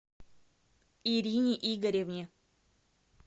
ирине игоревне